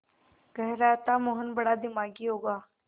कह रहा था मोहन बड़ा दिमागी होगा